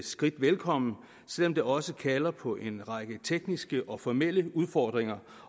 skridt velkommen selv om det også kalder på en række tekniske og formelle udfordringer